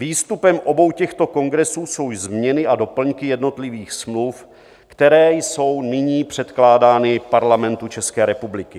Výstupem obou těchto kongresů jsou změny a doplňky jednotlivých smluv, které jsou nyní předkládány Parlamentu České republiky.